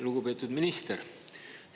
Lugupeetud minister!